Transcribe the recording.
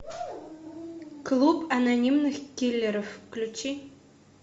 клуб анонимных киллеров включи